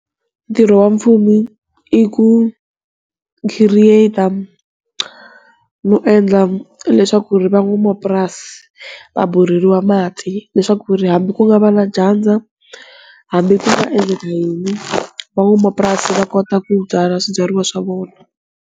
Ntirho wa mfumo i ku khiriyeta no endla leswaku ri van'wamapurasi va borheriwa mati leswaku ri hambi ku nga va na dyandza, hambi ku nga endleka yini, van'wamapurasi va kota ku byala swibyariwa swa vona.